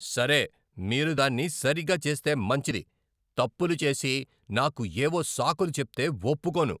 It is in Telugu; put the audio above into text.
సరే, మీరు దాన్ని సరిగ్గా చేస్తే మంచిది. తప్పులు చేసి, నాకు ఏవో సాకులు చెప్తే ఒప్పుకోను.